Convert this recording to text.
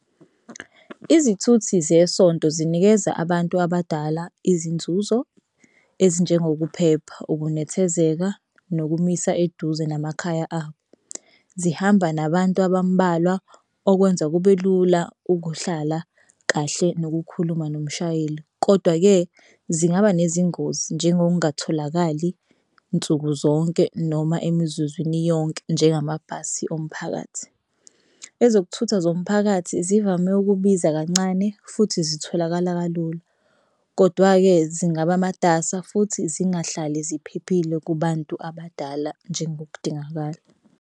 Izithuthi zesonto zinikeza abantu abadala izinzuzo ezinjengokuphepha, ukunethezeka, nokumisa eduze namakhaya abo. Zihamba nabantu abambalwa okwenza kube lula ukuhlala kahle nokukhuluma nomshayeli kodwa-ke zingaba nezingozi njengokungatholakali nsukuzonke noma emizuzwini yonke nje ngamabhasi omphakathi. Ezokuthutha zomphakathi zivame ukubiza kancane futhi zitholakala kalula kodwa-ke zingaba matasa futhi zingahlali ziphephile kubantu abadala njengokudingakala.